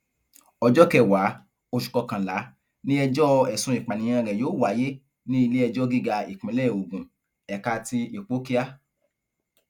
ọjọ kẹwàá oṣù kọkànlá ni ìgbẹjọ ẹsùn ìpànìyàn rẹ yóò wáyé ní iléẹjọ gíga ìpínlẹ ogun ẹka ti ipòkíà